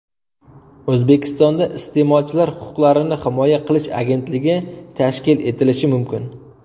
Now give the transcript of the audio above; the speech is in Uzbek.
O‘zbekistonda Iste’molchilar huquqlarini himoya qilish agentligi tashkil etilishi mumkin.